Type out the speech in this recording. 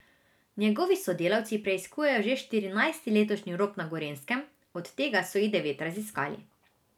Njegovi sodelavci preiskujejo že štirinajsti letošnji rop na Gorenjskem, od tega so jih devet raziskali.